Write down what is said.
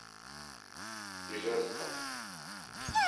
ижевском